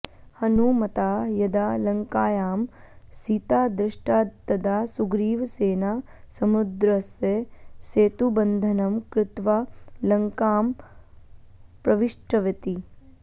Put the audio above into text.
हनूमता यदा लङ्कायां सीता दृष्टा तदा सुग्रीवसेना समुद्रस्य सेतुबन्धनं कृत्वा लङ्कां प्रविष्टवती